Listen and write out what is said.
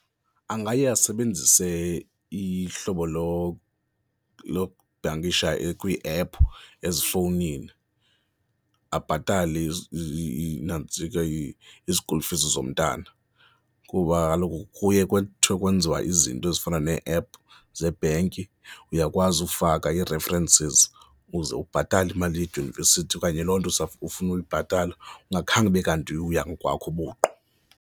Angaya asebenzise ihlobo lokubhankisha kwiiephu ezifowunini, abhatale iinantsika ii-school fees zomntana kuba kaloku kuye kuthiwe kwenziwa izinto ezifana nee-ephu zebhenki uyakwazi ufaka ii-references uze ubhatale imali edyunivesithi okanye loo nto ufuna uyibhatala ungakhange ube kanti uya ngokwakho ubuqu.